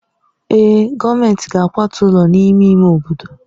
Èè, gọọmentị ga-akwatu ụlọ n'ime ime obodo.